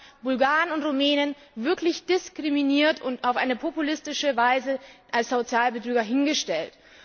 Sie hat Bulgaren und Rumänen wirklich diskriminiert und auf eine populistische Weise als Sozialbetrüger hingestellt.